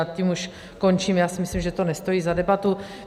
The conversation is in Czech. A tím už končím, já si myslím, že to nestojí za debatu.